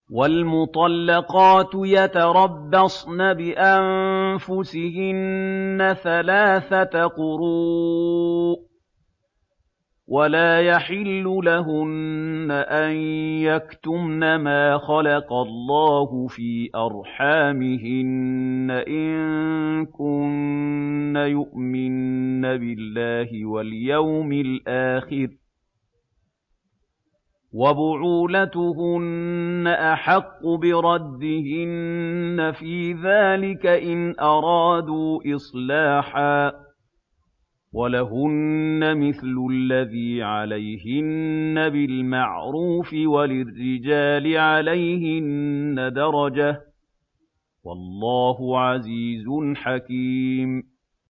وَالْمُطَلَّقَاتُ يَتَرَبَّصْنَ بِأَنفُسِهِنَّ ثَلَاثَةَ قُرُوءٍ ۚ وَلَا يَحِلُّ لَهُنَّ أَن يَكْتُمْنَ مَا خَلَقَ اللَّهُ فِي أَرْحَامِهِنَّ إِن كُنَّ يُؤْمِنَّ بِاللَّهِ وَالْيَوْمِ الْآخِرِ ۚ وَبُعُولَتُهُنَّ أَحَقُّ بِرَدِّهِنَّ فِي ذَٰلِكَ إِنْ أَرَادُوا إِصْلَاحًا ۚ وَلَهُنَّ مِثْلُ الَّذِي عَلَيْهِنَّ بِالْمَعْرُوفِ ۚ وَلِلرِّجَالِ عَلَيْهِنَّ دَرَجَةٌ ۗ وَاللَّهُ عَزِيزٌ حَكِيمٌ